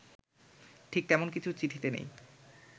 ঠিক তেমন কিছু চিঠিতে নেই